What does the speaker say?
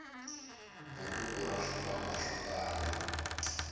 buruku ra swikhwama swo tala